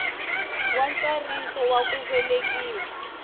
wa ntsariso wa ku velekiwa